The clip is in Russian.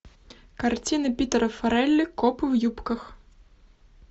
картина питера фаррелли копы в юбках